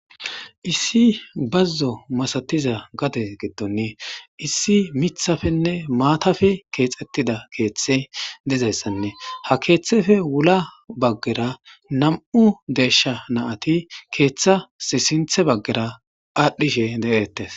Issi bazzo masatiza gade giddon issi miththappenne maatappe keexetida keethtey dizayisane ha kethepe sinthe bagara namu desha marati adhishe detes.